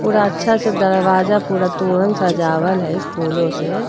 पूरा अच्छा से दरवाजा पूरा तोरन सजावल है फूलों से।